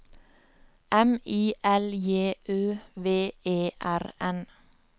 M I L J Ø V E R N